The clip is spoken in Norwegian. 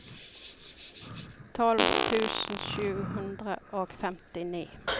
tolv tusen sju hundre og femtini